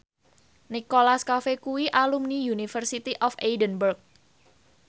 Nicholas Cafe kuwi alumni University of Edinburgh